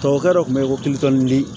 Tubabukalo tun bɛ yen ko kulituli